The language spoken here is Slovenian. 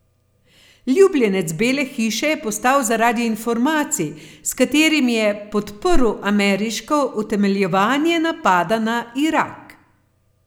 Ljubljenec Bele hiše je postal zaradi informacij, s katerimi je podprl ameriško utemeljevanje napada na Irak.